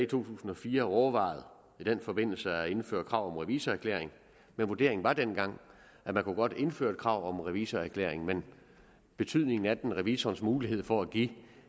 tusind og fire overvejet i den forbindelse at indføre krav om revisorerklæring men vurderingen var dengang at man godt kunne indføre et krav om revisorerklæring men betydningen af den revisorens mulighed for at give